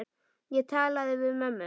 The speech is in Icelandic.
Ég talaði við mömmu.